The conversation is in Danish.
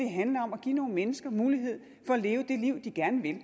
handler om at give nogle mennesker mulighed for at leve det liv de gerne vil